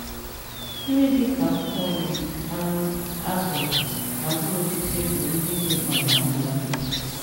Nri dị ka akwụkwọ nri, anụ, azụ, na mkpụrụ osisi bụ ndị dị mkpa n’ahụ mmadụ